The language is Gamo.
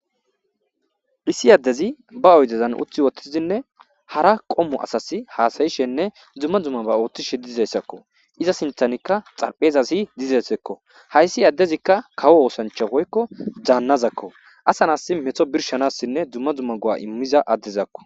issi addezi ba oydezan utthi wottizinne hara qommu asas haasayishenne dzumma dumma ba ooththishe dizayssakko iza sinthanikka xarphezasi dizessekko hayssi addezikka kawo oosancha woykko daannazakko asan as meto birshanassinne dumma dzumma go7a immiza addezakko